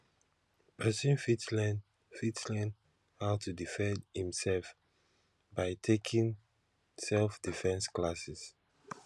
persin fit learnn fit learnn how to defend im self by taking selfdefence classes